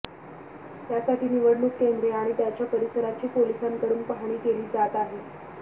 यासाठी निवडणूक केंद्रे आणि त्याच्या परिसराची पोलिसांकडून पाहणी केली जात आहे